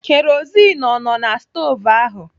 Kerozin ọ nọ na na stovu ahụ?